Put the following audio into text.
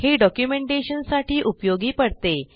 हे डॉक्युमेंटेशन साठी उपयोगी पडते